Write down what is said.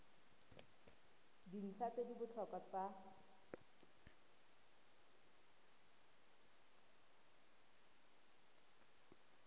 dintlha tse di botlhokwa tsa